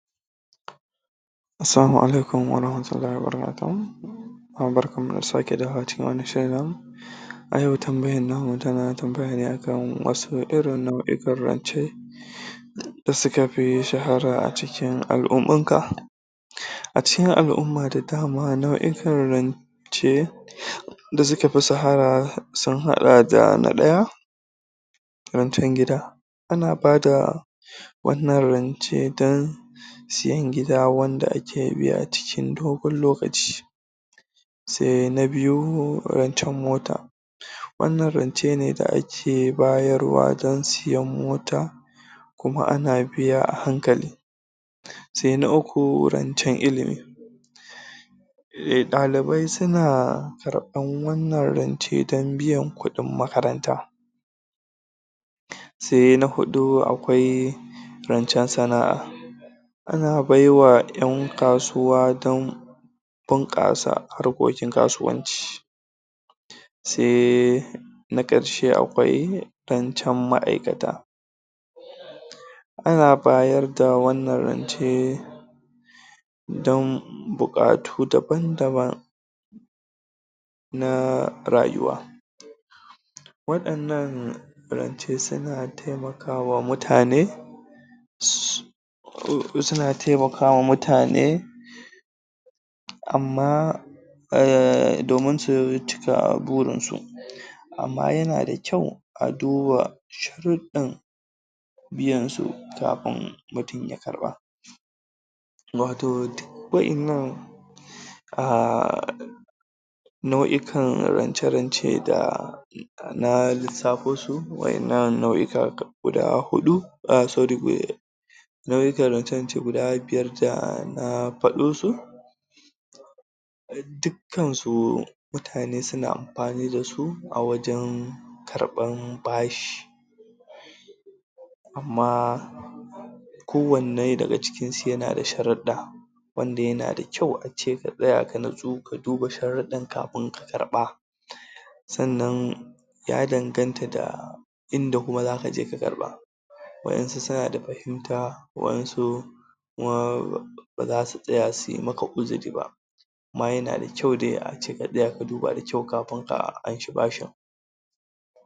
Salamu alaikum wa rahmatullahi wa barakatu barkan mu da dawowa cikin wannan shiri namu a yau tambayar namu tana tambaya ne a kan wasu irin nau'ikan rance suka fi shahara a cikin a al'ummar ka a cikin al'umma da dama nau'ikan rance da suka fi shahara sun haɗa da na ɗaya rancen gida ana bada wannan rance don siyan gida wanda ake biya a cikin dogon lokaci, so na biyu rancen mota wannan rance ne da ake bayarwa don siyan mota kuma a na biya a hankali, sai na uku, rancen ilimi dalibai suna karɓan wannan rance don biyan kuɗin makaranta, sai na huɗu akwai rancen sana'a a na baiwa 'yan kasuwa don bunƙasa harkokin kasuwanci sai na ƙarshe akwai rancen ma'aikata a na bayar da wannan rance dom buƙatu daban-daban na rayuwa waɗannan rance sun taimakawa mutane suna taimakawa mutane amma domin su cika burin su amma yana da kyau a duba sharuɗan biyan su kafin mutum ya karɓa wato duk waɗannan ahh nau'ikan rance-rance da na lissafo su waɗannan nau'ika guda huɗu ah sori nau'ikan rance guda biyar da na faɗo su dukkan su mutane suna amfani dasu a wajen karɓan bashi amma ko wanne daga cikin su yana da sharuɗa wanda yana da kyau ace ka tsaya ka natsu ka duba sharudan kafin ka karɓa sannan ya danganta da inda kuma za ka je ka amsa waɗansu suna da fahimta waɗansu baza su tsaya suyi maka uzuri ba amma yana da kyau dai a ce ka tsaya ka duba kafin ka ci bashin.